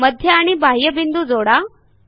मध्य आणि बाह्य बिंदू जोडा